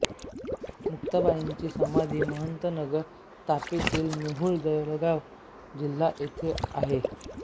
मुक्ताबाईंची समाधी महत् नगर तापीतीर मेहुण जळगाव जिल्हा येथे आहे